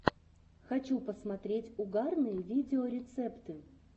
хочу посмотреть угарные видеорецепты